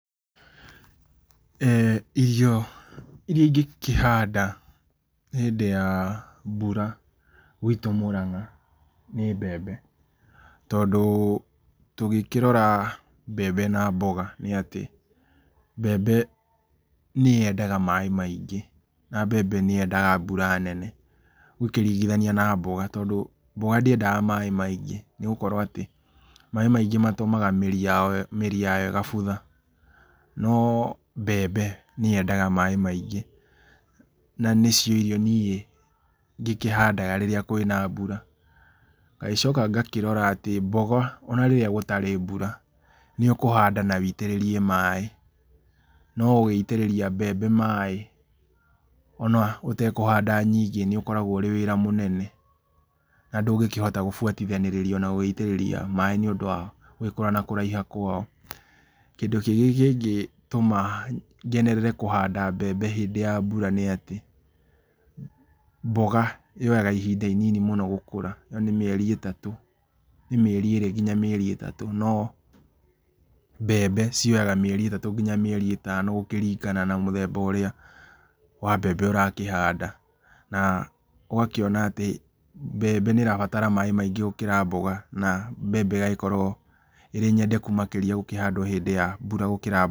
Irio iria ingĩkĩhanda hĩndĩ ya mbura gwĩtũ Mũrang’a nĩ mbembe tondũ tũngĩkĩrora mbembe na mboga nĩ atĩ mbembe nĩ yendaga maĩ maingĩ na mbembe nĩyendaga mbura nene ,ũngĩkĩrigithania na mboga tondũ mboga ndĩendaga maĩ maingĩ nĩgũkorwo atĩ maĩ maingĩ matũmaga atĩ mĩri yao ĩgabutha no mbembe nĩ yendaga maĩ maingĩ na nĩcio irio niĩ ngĩkĩhandaga kwĩna mbura, ngagĩcoka ngakĩrora atĩ mboga ona rĩrĩa gũtarĩ mbura nĩ ũkũhanda na wĩitĩrĩrie maĩ, no gũgĩitĩrĩria mbembe maĩ ona ũtakũhanda nyingĩ nĩ ũkoragwo ũrĩ wĩra mũnene na ndũngĩhota gũbuatanĩrĩrio na gũgĩitĩrĩria maĩ nĩ ũndũ wa gũgĩkũra na kũraiha kwao. Kindũ kĩngĩ kĩngĩtũma ngenerere kũhanda mbembe hĩndĩ ya mbura nĩ atĩ mboga yoyaga ihinda inini mũno gũkũra na nĩ mĩeri ĩtatũ, nĩ mĩeri ĩrĩ nginya mĩeri ĩtatũ no mbembe cioyaga mĩeri ĩtatũ nginya mĩeri ĩtano gũkĩrigana na mũthemba ũrĩa wa mbembe ũrakĩhanda na ũgakĩona atĩ mbembe nĩ ĩrabatara maĩ maingĩ gũkĩra mboga na mbembe ĩgakorwo ĩnyendeku makĩrĩa gũkĩhandwo hĩndĩ ya mbura gũkĩra mboga.